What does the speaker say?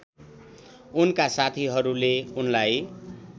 उनका साथीहरूले उनलाई